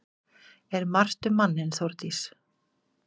Er margt um manninn Þórdís?